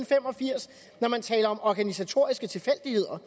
fem og firs når man taler om organisatoriske tilfældigheder